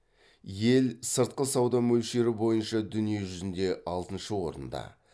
ел сыртқы сауда мөлшері бойынша дүние жүзінде алтыншы орында